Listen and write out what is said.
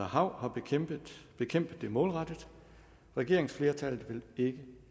hav har bekæmpet det målrettet regeringsflertallet vil ikke